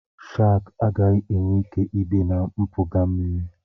Shakị agaghị enwe ike ibi na mpụga mmiri.